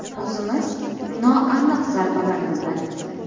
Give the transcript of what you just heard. O‘zimiz noaniq zarbalar yo‘lladik.